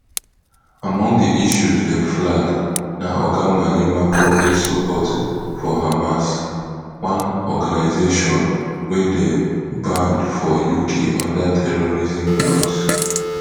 among di issues dem flag na oga malema public support for hamas one organization wey dey banned for uk under terrorism laws